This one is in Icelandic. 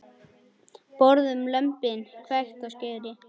Borðum lömbin, hvekkt á skeri.